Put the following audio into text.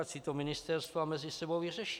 Ať si to ministerstva mezi sebou vyřeší.